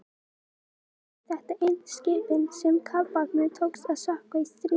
raunar urðu þetta einu skipin sem kafbátnum tókst að sökkva í stríðinu